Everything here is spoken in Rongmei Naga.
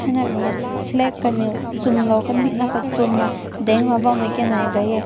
rui na flag kanew zun na kading na zun dang na lui bam meh.